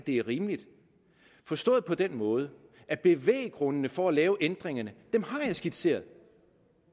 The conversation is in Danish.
er rimeligt forstået på den måde at bevæggrundene for at lave ændringerne har jeg skitseret